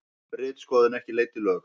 Ritskoðun ekki leidd í lög